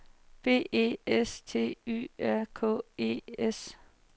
B E S T Y R K E S